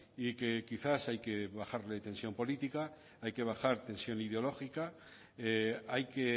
y que quizás hay que bajarle tensión política hay que bajar tensión ideológica hay que